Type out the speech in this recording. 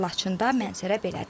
Laçında mənzərə belədir.